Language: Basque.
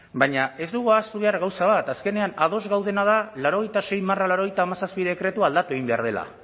baina ez dugu ahaztu behar gauza bat azkenean ados gaudena da laurogeita sei barra laurogeita hamazazpi dekretua aldatu egin behar dela